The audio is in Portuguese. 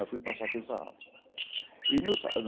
Aí fui passar aqueles sarrafos. E nisso